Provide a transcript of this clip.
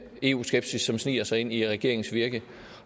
eu skepsis som sniger sig ind i regeringens virke